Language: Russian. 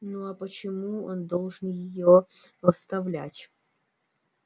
ну а почему он должен её оставлять